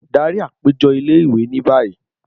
Dari apejọ ile-iwe ni bayi!